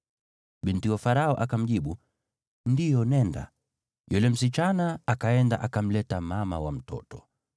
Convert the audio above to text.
Binti Farao akamjibu, “Ndiyo, nenda.” Yule msichana akaenda akamleta mama wa mtoto.